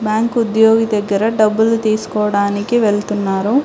Bank ఉద్యోగి దగ్గర డబ్బులు తీసుకోవడానికి వెళ్తున్నారు.